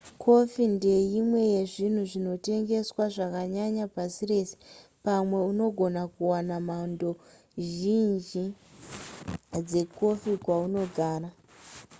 kofi ndeimwe yezvinhu zvinotengeswa zvakanyanya pasi rese pamwe unogona kuwana mhando zhinji dzekofi kwaunogara